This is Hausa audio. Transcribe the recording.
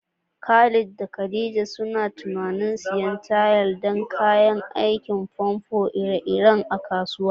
Khalid da Khadija suna tunanin siyan tayal da kayan aikin famfo iri-iri a kasuwa.